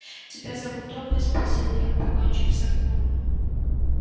тебя зовут ольга спросил я покончив с окном